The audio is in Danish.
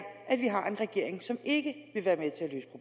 at vi har en regering som ikke